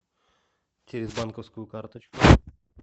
через банковскую карточку